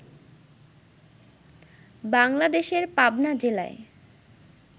বাংলাদেশের পাবনা জেলায়